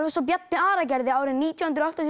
eins og Bjarni Ara gerði nítján hundruð áttatíu